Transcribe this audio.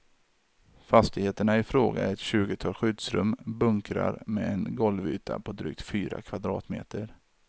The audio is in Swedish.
Fastigheterna i fråga är ett tjugotal skyddsrum, bunkrar med en golvyta på drygt fyra kvadratmeter.